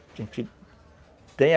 tem